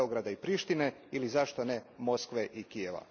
Beograda i Prištine ili zašto ne Moskve i Kijeva.